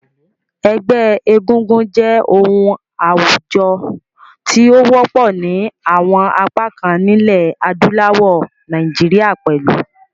Ẹgbẹ́ egúngún jẹ́ oun àwùjo ti o wọ́pọ̀ ni àwon apá kan nílẹ̀ adúláwò, Naijiria pẹ̀lu.